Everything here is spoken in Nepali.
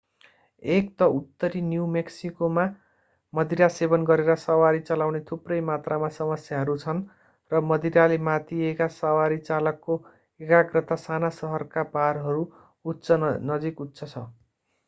एक त उत्तरी न्यू मेक्सिकोमा मदिरा सेवन गरेर सवारी चलाउने थुप्रै मात्रामा समस्याहरू छन् र मदिराले मातिएका सवारी चालकको एकाग्रता साना सहरका बारहरू नजिक उच्च छ